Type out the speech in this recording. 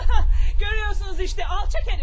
Görürsünüz, bax alçaq herif.